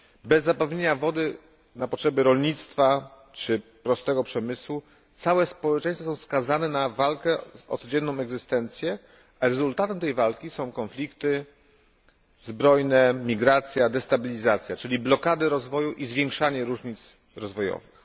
Bez zapewnienia wody na potrzeby rolnictwa czy prostego przemysłu całe społeczeństwa są skazane na walkę o codzienną egzystencję, a rezultatem tej walki są konflikty zbrojne, migracja, destabilizacja, czyli blokady rozwoju i zwiększanie różnic rozwojowych.